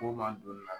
Ko mandon